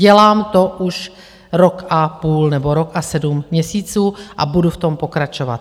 Dělám to už rok a půl nebo rok a sedm měsíců a budu v tom pokračovat.